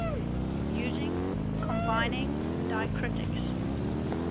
using combining diacritics